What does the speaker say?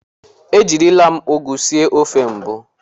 Ejirila m ụgụ sie ofe mbụ.